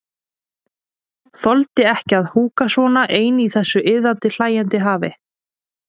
Þoldi ekki að húka svona ein í þessu iðandi, hlæjandi hafi.